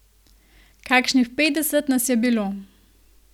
Kakšnih petdeset nas je bilo.